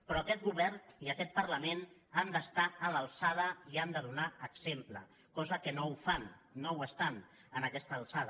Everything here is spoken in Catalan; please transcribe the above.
però aquest govern i aquest parlament hi han d’estar a l’alçada i han de donar exemple cosa que no fan no hi estan a aquesta alçada